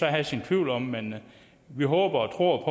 have sine tvivl om men vi håber og tror